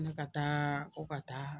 Ne ka taa ko ka taa